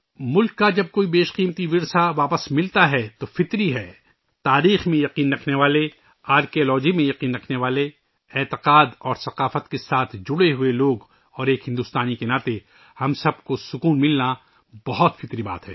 ملک کا جب کوئی بھی قیمتی ورثہ واپس ملتا ہے تو تاریخ میں احترام رکھنے والے ، آثار قدیمہ پر یقین رکھتے ہیں، عقیدے اور ثقافت سے جڑے ہوئے لوگ اور ایک بھارتی کے طور پر ، ہم سب کو ، اطمینان ملنا بہت فطری بات ہے